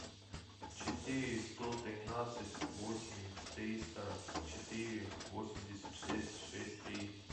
четыре сто тринадцать восемь триста четыре восемьдесят шесть шесть три